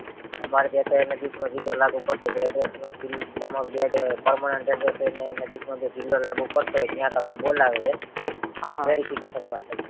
અમારે ત્યાં તો નજીક માં જગ્યા લાગુ પડતી હતી address નું જી તમરુ જે permanent address ને નજીક નો જે જીલ્લો લાગુ પડે ત્યાં તમને બોલાવશે verification માટે